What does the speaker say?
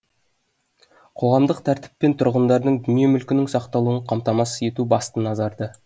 қоғамдық тәртіп пен тұрғындардың дүние мүлкінің сақталуын қамтамасыз ету басты назарда